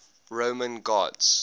roman gods